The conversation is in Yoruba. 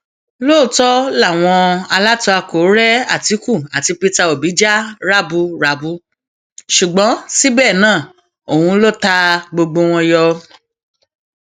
lóòótọ làwọn alátakò rẹ àtìkù àti peter òbí jà raburabu ṣùgbọn síbẹ náà òun ló ta gbogbo wọn yọ